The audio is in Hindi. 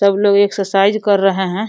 सब लोग एक्सरसाइज कर रहे हैं।